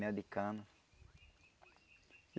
Mel de cana.